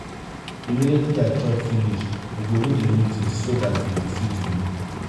immediately i chop finish we go do the meeting so dat they go fit go.